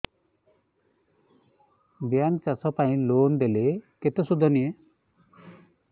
bank ଚାଷ ପାଇଁ loan ଦେଲେ କେତେ ସୁଧ ନିଏ